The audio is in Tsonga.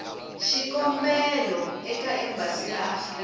xikombelo eka embasi ya afrika